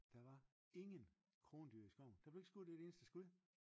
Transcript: der var ingen krondyr i skoven der blev ikke skudt et eneste skud